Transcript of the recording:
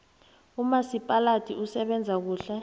umasipaladi usebenza kuhle